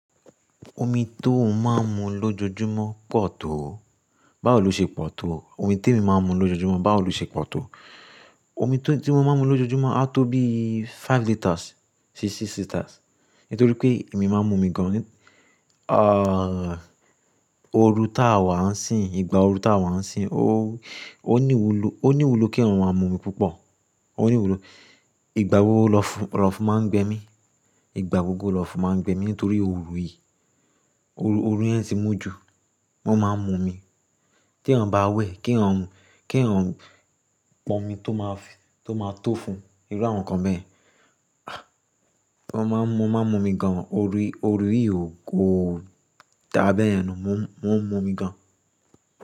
Omi tó ń máa ń mu lójoojúmọ́ pọ̀ tó. Báwò lọ ṣe pọ̀ tó, omi tí èmi máa ń mu lójoojúmọ́ báwò lọ ṣe pọ̀ tó, omi tí mo máa ń mu lójoojúmọ́ a tó bí five litres sí six litres. Nítorí pé èmi máa ń mu omi gan. Ah, ooru táa wà ń sìn, ìgbà ooru táa wà ń sìn, ó, ó ní ìwúlò, ó ní ìwúlò kí èyàn máa mu omi púpọ̀. Ó ní ìwúlò. Ìgbà gbogbo lọ́fún, lọ́fún máa ń gbẹ mí. Ìgbà gbogbo lọ́fún máa ń gbẹ mí nítorí oru yìí. Oru, oru yẹn ti mú ju. Mo máa ń mu omi. T'èèyàn bá wẹ̀, kí èèyàn, kí èèyàn pọn omi tó máa fi, tó máa tó fún irú àwọn nǹkan bẹ́ẹ̀. Ah, wọ́n máa ń mu, mo máa ń mu omi gan. Oru, oru yìí ò kóó dá bẹ́ẹ̀yẹn nà. Mo ń mu, mo ń mu omi gan.